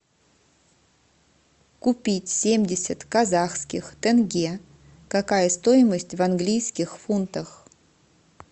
купить семьдесят казахских тенге какая стоимость в английских фунтах